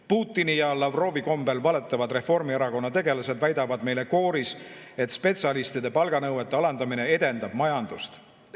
Putini ja Lavrovi kombel valetavad Reformierakonna tegelased väidavad meile kooris, et spetsialistide palganõuete alandamine edendab majandust.